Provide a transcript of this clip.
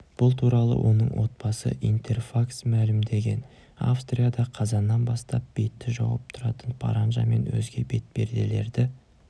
бұл туралы оның отбасы интерфакс мәлімдеген австрияда қазаннан бастап бетті жауып тұратын паранжа мен өзге бетперделерді